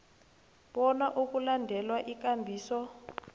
bona kulandelwe ikambiso